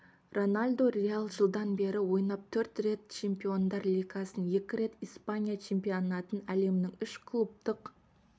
роналду реал жылдан бері ойнап төрт рет чемпиондар лигасын екі рет испания чемпионатын әлемнің үш клубтық